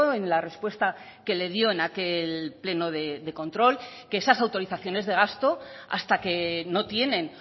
en la respuesta que le dio en aquel pleno de control que esas autorizaciones de gasto hasta que no tienen